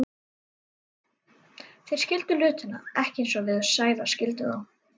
Þeir skildu hlutina ekki eins og við Sævar skildum þá.